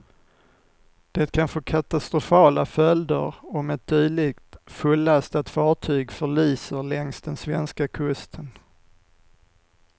Det kan få katastrofala följder om ett dylikt fullastat fartyg förliser längs den svenska kusten.